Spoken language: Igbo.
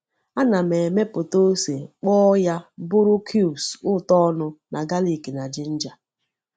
Ana m emepụta ose kpọọ ya bụrụ cubes ụtọ ọnụ na galik na ginger.